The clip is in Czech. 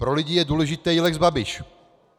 Pro lidi je důležitý lex Babiš.